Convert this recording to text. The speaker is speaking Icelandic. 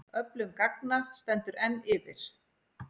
Öflun gagna stendur enn yfir.